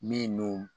Min n'o